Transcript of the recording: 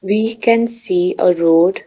We can see a road .